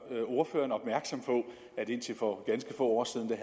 ordføreren opmærksom på at indtil for ganske få år siden